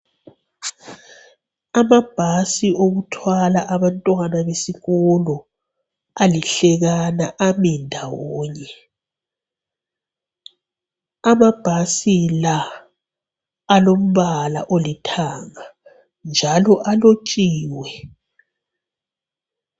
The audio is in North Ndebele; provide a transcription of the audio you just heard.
Amabhasi okuthwala abantwana besikolo alihlekana ami ndawonye, amabhasi la alombala olithanga njalo alotshiwe.